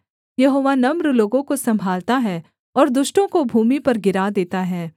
यहोवा नम्र लोगों को सम्भालता है और दुष्टों को भूमि पर गिरा देता है